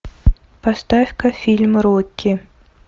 поставь ка фильм рокки